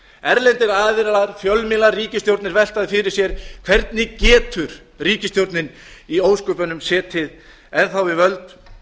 erlendir aðilar fjölmiðlar ríkisstjórnir velta nei fyrir sér hvernig getur ríkisstjórnin í ósköpunum setið enn þá við völd